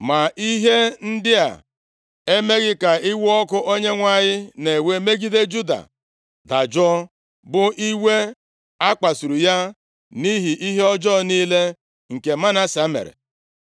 Ma ihe ndị a emeghị ka iwe ọkụ Onyenwe anyị na-ewe megide Juda dajụọ, bụ iwe a kpasuru ya nʼihi ihe ọjọọ niile nke Manase mere.